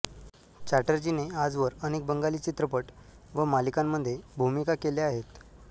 चॅटर्जीने आजवर अनेक बंगाली चित्रपट व मालिकांमध्ये भूमिका केल्या आहेत